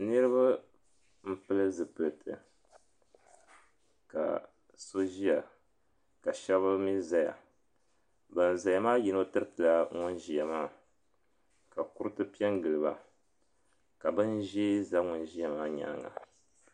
Niriba m-pili zupiliti ka so ʒiya ka shɛba mi zaya ban zaya maa yino tiritila ban ʒiya maa ka kuriti pe n-gili ba ka bin' ʒee za ŋun ʒiya maa nyaaŋa